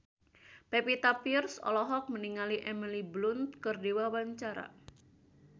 Pevita Pearce olohok ningali Emily Blunt keur diwawancara